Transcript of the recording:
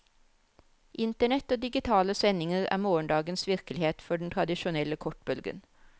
Internett og digitale sendinger er morgendagens virkelighet for den tradisjonelle kortbølgen.